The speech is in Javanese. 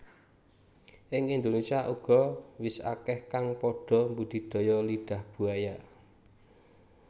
Ing Indonésia uga wis akeh kang padha mbudidaya Lidah Buaya